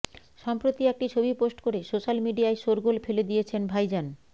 সম্প্রতি একটি ছবি পোস্ট করে সোশ্যাল মিডিয়ায় শোরগোল ফেলে দিয়েছেন ভাইজান